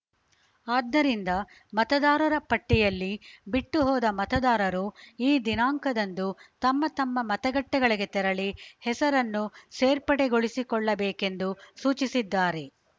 ಆದ್ದರಿಂದ ಮತದಾರರ ಪಟ್ಟಿಯಲ್ಲಿ ಬಿಟ್ಟು ಹೋದ ಮತದಾರರು ಈ ದಿನಾಂಕದಂದು ತಮ್ಮ ತಮ್ಮ ಮತಗಟ್ಟೆಗಳಿಗೆ ತೆರಳಿ ಹೆಸರನ್ನು ಸೇರ್ಪಡೆಗೊಳಿಸಿಕೊಳ್ಳಬೇಕೆಂದು ಸೂಚಿಸಿದ್ದಾರೆ